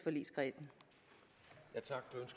ønske